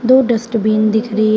दो डस्टबिन दिख रही है।